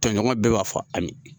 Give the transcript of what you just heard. Tɔɲɔgɔn bɛɛ b'a fɔ Ami.